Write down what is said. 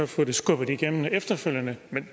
få det skubbet igennem efterfølgende